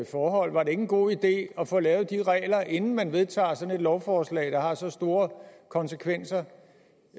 forhold var det ikke en god idé at få lavet de regler inden man vedtager sådan et lovforslag der har så store konsekvenser